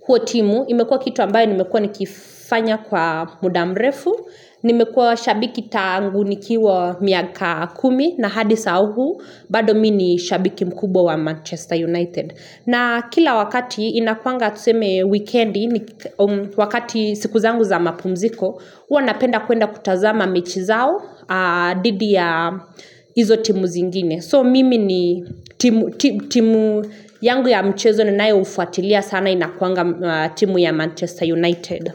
huo timu imekua kitu ambayo nimekua nikifanya kwa muda mrefu nimekua shabiki tangu nikiwa miaka kumi na hadi saa huu bado mi ni shabiki mkubwa wa manchester united na kila wakati inakuanga tuseme weekend wakati siku zangu za mapumziko hua napenda kuenda kutazama mechi zao didi ya Izo timu zingine So mimi ni timu yangu ya mchezo ninayoufuatilia sana inakuanga timu ya Manchester United.